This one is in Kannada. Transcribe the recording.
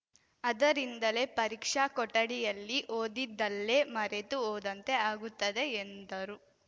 ಅದರಿಂದಲೇ ಪರೀಕ್ಷಾ ಕೊಠಡಿಯಲ್ಲಿ ಓದಿದ್ದಲ್ಲೇ ಮರೆತು ಹೋದಂತೆ ಆಗುತ್ತದೆ ಎಂದರು